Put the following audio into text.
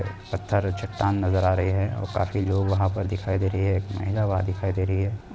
पत्थर चट्टान नज़र आ रही हैं और काफी जो वहाँ पर दिखाई दे रही हैं। एक महिला वहाँ दिखाई दे रही हैं।